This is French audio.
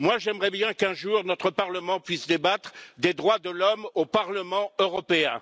J'aimerais bien qu'un jour notre Parlement puisse débattre des droits de l'homme au Parlement européen.